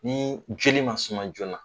Ni joli man suma joona.